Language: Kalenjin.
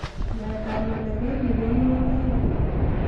Nyaet ab ngalek koibu kanunoitaik